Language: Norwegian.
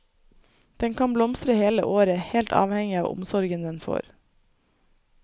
Den kan blomstre hele året, helt avhengig av omsorgen den får.